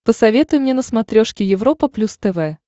посоветуй мне на смотрешке европа плюс тв